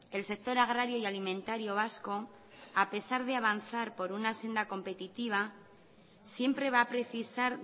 el sector agrario y alimentario vasco a pesar de avanzar por una senda competitiva siempre va a precisar